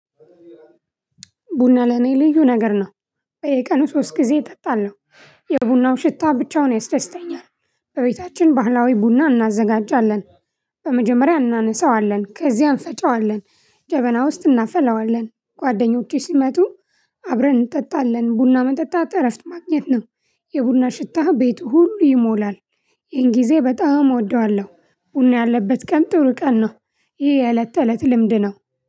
ቡና ለኔ ልዩ ነገር ነው። በየቀኑ ሶስት ጊዜ እጠጣለሁ። የቡናው ሽታ ብቻውን ያስደስተኛል። በቤታችን ባህላዊ ቡና እናዘጋጃለን። በመጀመሪያ እናነሳዋለን ከዚያም እንፈጨዋለን ጀበና ውስጥ እናፈላዋለን ጓደኞቼ ሲመጡ። አብረን እንጠጣለን ቡና መጠጣት እረፍት ማግኘት ነው። የቡና ሽታ ቤቱ ሁሉ ይሞላል። ይሄን ጊዜ በጣም እወደዋለሁ ቡና ያለበት ቀን ጥሩ ቀን ነው። ይህ የእለት ተእለት ልምድ ነው።